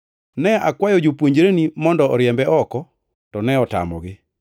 Ne akwayo jopuonjreni mondo oriembe oko, to ne otamogi.”